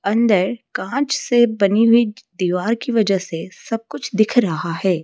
अंदर कांच से बनी हुई दीवार की वजह से सब कुछ दिख रहा है।